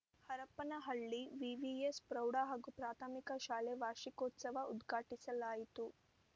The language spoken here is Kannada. ಹರಪನಹಳ್ಳಿ ವಿವಿಎಸ್‌ ಪ್ರೌಢ ಹಾಗೂ ಪ್ರಾಥಮಿಕ ಶಾಲೆ ವಾರ್ಷಿಕೋತ್ಸವ ಉದ್ಘಾಟಿಸಲಾಯಿತು